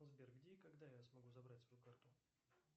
сбер где и когда я смогу забрать свою карту